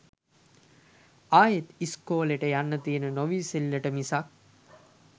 ආයෙත් ඉස්කෝලෙට යන්න තියෙන නොඉවසිල්ලට මිසක්